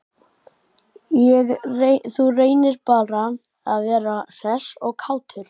Þú reynir bara að vera hress og kátur!